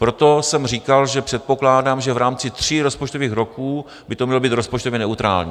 Proto jsem říkal, že předpokládám, že v rámci tří rozpočtových roků by to mělo být rozpočtově neutrální.